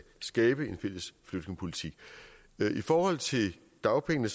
skabe en fælles flygtningepolitik i forhold til dagpengene